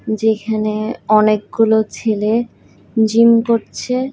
যেখানে অনেকগুলো ছেলে জিম করছে।